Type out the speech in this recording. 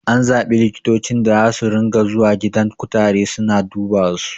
An zaɓi likitocin da zasu ringa zuwa gidan kutare suna dubasu